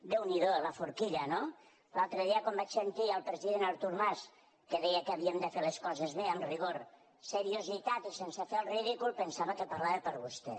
déu n’hi do la forquilla no l’altre dia quan vaig sentir el president artur mas que deia que havíem de fer les coses bé amb rigor seriositat i sense fer el ridícul pensava que parlava per vostè